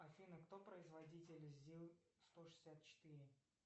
афина кто производитель зил сто шестьдесят четыре